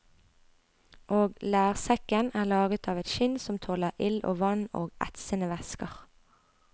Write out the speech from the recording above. Og lærsekken er laget av et skinn som tåler ild og vann og etsende væsker.